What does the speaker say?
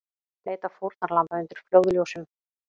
Leita fórnarlamba undir flóðljósum